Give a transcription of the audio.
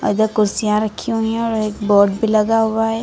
इधर कुर्सियां रखी हुई और एक बोर्ड भी लगा हुआ है।